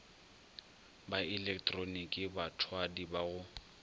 ka ilektroniki bathwadi ba go